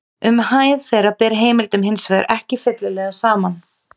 Um hæð þeirra ber heimildum hins vegar ekki fyllilega saman.